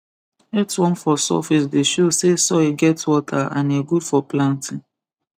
earthworm for surface dey show say soil get water and e good for planting